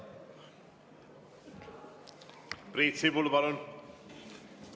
Priit Sibul, palun!